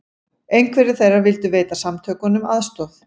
Einhverjir þeirra vildu veita samtökunum aðstoð